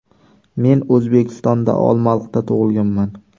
Men O‘zbekistonda, Olmaliqda tug‘ilganman.